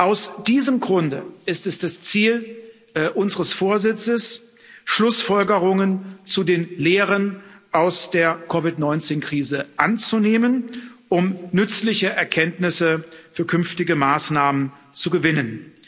Aus diesem Grunde ist es das Ziel unseres Vorsitzes, Schlussfolgerungen zu den Lehren aus der COVID 19 Krise anzunehmen, um nützliche Erkenntnisse für künftige Maßnahmen zu gewinnen.